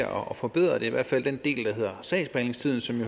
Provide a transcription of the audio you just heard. at forbedre det i hvert fald den del der hedder sagsbehandlingstiden som